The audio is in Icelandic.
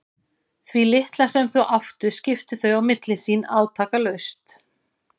Því litla sem þau áttu skiptu þau á milli sín átakalaust.